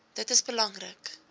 dit is belangrik